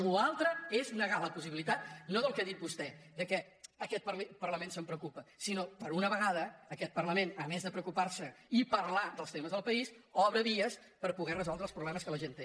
la resta és negar la possibilitat no del que ha dit vostè que aquest parlament se’n preocupa sinó per una vegada aquest parlament a més de preocupar se i parlar dels temes del país obre vies per poder resoldre els problemes que la gent té